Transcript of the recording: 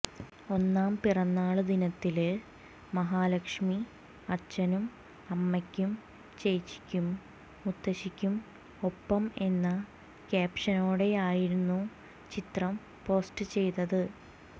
ഒന്നാം പിറന്നാള് ദിനത്തില് മഹാലക്ഷ്മി അച്ഛനും അമ്മയ്ക്കും ചേച്ചിക്കും മുത്തശ്ശിക്കും ഒപ്പം എന്ന ക്യാപഷ്നോടെയായിരുന്നു ചിത്രം പോസ്റ്റ് ചെയ്തത്